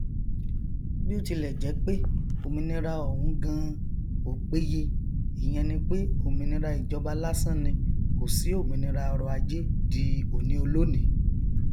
bíótilẹjẹpé òmìnira ọhún ganan ò péye ìyẹn ni pé òmìnira ìjọba lásán ni kòsí òmìnira ọrọajé di òníolónìí